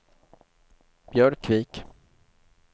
Björkvik